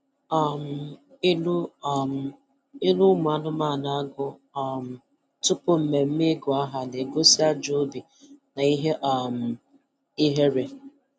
um Ilu um Ilu ụmụ anụmanụ agụ um tupu mmemme ịgụ aha na-egosi ajọ obi na ihe um ihere